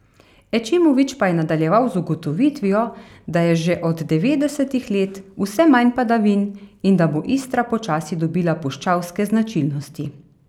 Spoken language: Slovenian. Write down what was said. Ećimović pa je nadaljeval z ugotovitvijo, da je že od devetdesetih let vse manj padavin in da bo Istra počasi dobila puščavske značilnosti.